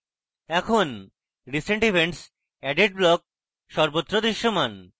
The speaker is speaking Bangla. এখন recent events added block সর্বত্র দৃশ্যমান